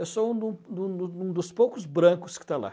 Eu sou um do do do dos poucos brancos que está lá.